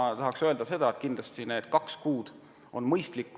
Siin tahaks ma öelda nii, et kindlasti on need kaks kuud mõistlik aeg.